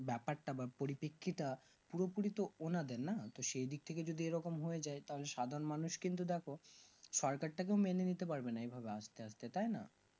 ব্যাপার তা বা পরিপেক্ষিতে পুরোপুরি তো ওনাদের না তো সেই দিকথেকে যদি এরকম হয়ে যাই তাহলে সাধারণ মানুষ কিন্তু দেখো সরকার তাকেও মেনেনিতে পারবেনা এই ভাবে আস্তে আস্তে তাই না